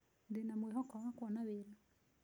Ndĩna mwĩhoko wa kuona wĩra.